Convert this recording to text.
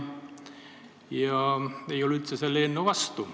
Ma ei ole üldse selle eelnõu vastu.